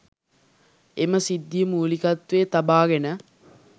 එම සිද්ධිය මූලිකත්වයේ තබාගෙන